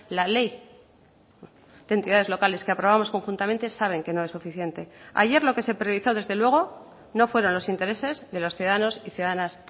la ley de entidades locales que aprobamos conjuntamente saben que no es suficiente ayer lo que se priorizó desde luego no fueron los intereses de los ciudadanos y ciudadanas